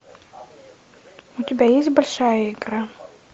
у тебя есть большая игра